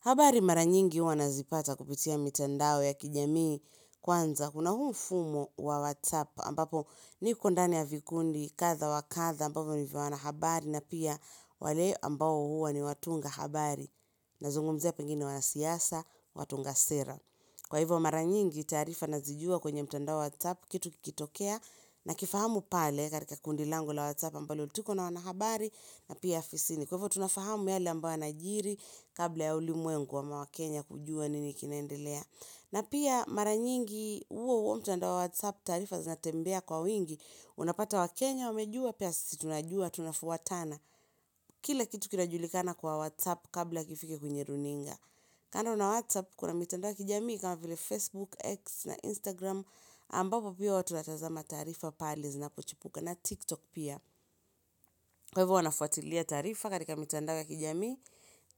Habari mara nyingi huwa nazipata kupitia mitandao ya kijamii kwanza. Kuna huu mfumo wa whatsapp ambapo niko ndani ya vikundi kadha wa kadha ambavyo ni vya wanahabari na pia wale ambao huwa ni watunga habari nazungumzia pengine wanasiasa watunga sera. Kwa hivyo mara nyingi taarifa nazijua kwenye mitandao whatsapp kitu kikitokea nakifahamu pale katika kundi langu la whatsapp ambalo tuko na wanahabari na pia afisini. Kwa hivyo tunafahamu yale ambayo yanajiri kabla ya ulimwengu ama wakenya kujua nini kinaendelea. Na pia mara nyingi uo uo mtandao wa WhatsApp taarifa zinatembea kwa wingi. Unapata wakenya, wamejua, pia sisi tunajua, tunafuatana. Kila kitu kinajulikana kwa WhatsApp kabla kifike kwenye runinga. Kando na WhatsApp kuna mitandao ya kijamii kama vile Facebook, X na Instagram. Ambavyo pia watu wanatazama taarifa pale zinapochipuka na TikTok pia. Kwa hivyo huwa nafuatilia taarifa katika mitandao ya kijami